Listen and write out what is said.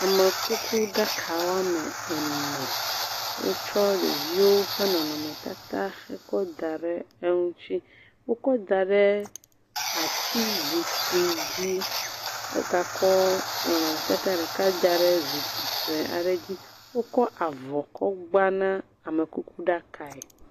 Amekuku ɖaka woame ene, wotsɔ ɖeviwo ƒe nɔnɔmetata kɔ da ɖe eŋuti, wokɔ da ɖe ati zikpui dzi, wogakɔ nɔnɔmetata ɖeka da ɖe zikpui sɔe aɖe dzi, wokɔ avɔ kɔ gba na amekuku ɖakae.